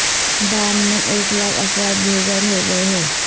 بام میں ایک لاکھ افراد بے گھر ہو گئے ہیں